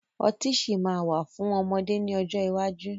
Ọtí sì máa wà fún ọmọdé ni ọjọ́ iwájú